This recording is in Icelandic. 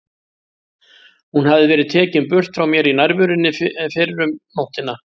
Hún hafði verið tekin burt frá mér í nærverunni fyrr um nóttina.